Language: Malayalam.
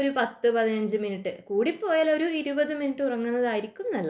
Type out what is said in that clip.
ഒരു പത്തു പതിനഞ്ചു മിനിറ്റ് കൂടിപ്പോയാൽ ഒരു ഇരുപത് മിനിറ്റ് ഉറങ്ങുന്നതായിരിക്കും നല്ലത്